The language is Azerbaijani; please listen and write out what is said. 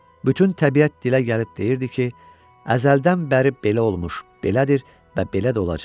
Bütün təbiət dilə gəlib deyirdi ki, əzəldən bəri belə olmuş, belədir və belə də olacaq.